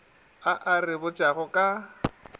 a a re botšago ka